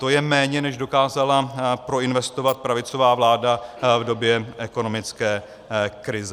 To je méně, než dokázala proinvestovat pravicová vláda v době ekonomické krize.